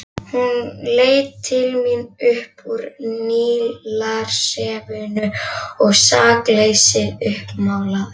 Hún leit til mín upp úr Nílarsefinu, sakleysið uppmálað.